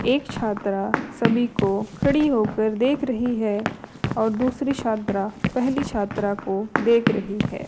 एक छात्रा सभी को खड़ी होकर देख रही है और दूसरी छात्रा पहली छात्रा को देख रही है।